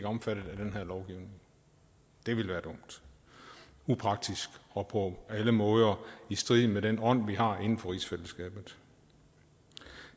omfattet af den her lovgivning det ville være dumt upraktisk og på alle måder i strid med den ånd vi har inden for rigsfællesskabet